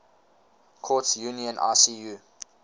courts union icu